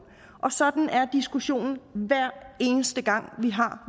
og sådan er diskussionen hver eneste gang vi har